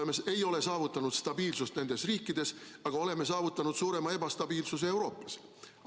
Me ei ole saavutanud stabiilsust nendes riikides, aga oleme saavutanud suurema ebastabiilsuse Euroopas.